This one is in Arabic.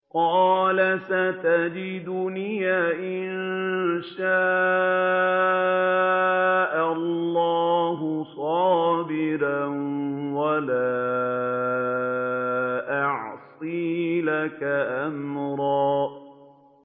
قَالَ سَتَجِدُنِي إِن شَاءَ اللَّهُ صَابِرًا وَلَا أَعْصِي لَكَ أَمْرًا